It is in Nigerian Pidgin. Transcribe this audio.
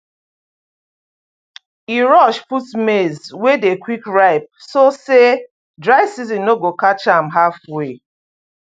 e rush put maize wey dey quick ripe so say dry season no go catch am halfway